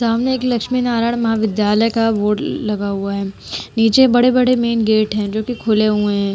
सामने एक लक्ष्मी नारायण महाविद्यालय का बोर्ड लगा हुआ है नीचे बड़े-बड़े मेन गेट हैं जो कि खुले हुए हैं।